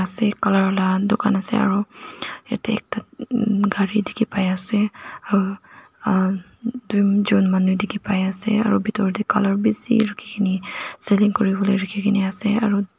colour laka dukan ase aro yatae ekta emm gari dikhipaiase aru ahh tujon manu dikhipaiase aru bitor tae colour bishi rakhikaeni kuriwolae rakhi kaena ase aru--